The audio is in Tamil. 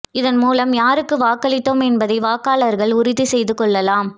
இதன் மூலம் யாருக்கு வாக்களித்தோம் என்பதை வாக்காளர்கள் உறுதிசெய்து கொள்ளலாம்